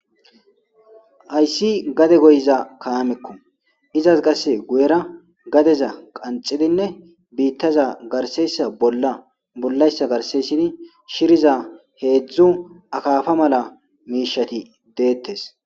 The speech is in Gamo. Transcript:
Haysi gade goyiza kaameko izas qase guyera gadeza qanxidinne bitaza garseysa bolla bollaysa garse histidi shiriza hedzdzu akafa mala mishshati detes.